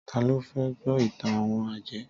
Tá lo fẹ́ gbọ́ ìtàn àwon àjẹ́?